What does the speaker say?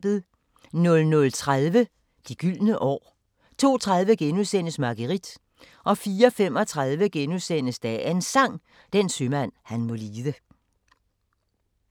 00:30: De gyldne år 02:30: Marguerite * 04:35: Dagens Sang: Den sømand han må lide *